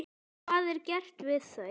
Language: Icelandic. Hvað er gert við þau?